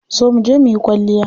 Zo muje muyi kwalliya.